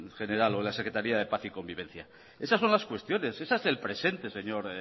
general o en la secretaría de paz y convivencia esas son las cuestiones ese es el presente señor